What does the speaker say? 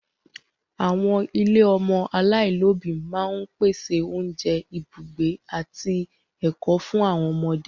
Àwọn ilé ọmọ aláìlóbìí máa ń pèsè oúnjẹ, ibùgbé, àti ẹ̀kọ́ fún àwọn ọmọdé.